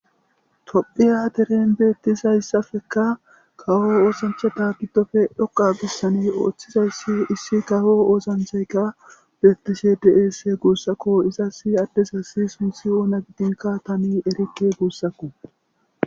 Tophphiya deten beettizayssappe kawo oosanchchata giddope dhoqqa bessan oothizayssi issi kawo oosanchaykka beettishe de7ees guussako.izassi addezassi sunthi oona gidinkka tani erikke guussako.